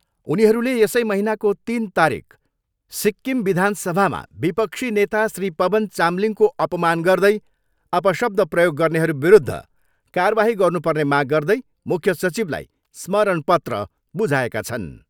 उनीहरूले यसै महिनाको तिन तारिक सिक्किम विधानसभामा विपक्षी नेता श्री पवन चामलिङको अपमान गर्दै अपशब्द प्रयोग गर्नेहरूविरूद्ध कारबाही गर्नु पर्ने माग गर्दै मुख्य सचिवलाई स्मरण पत्र बुझाएका छन्।